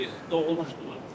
Siz doğulmuşdunuz?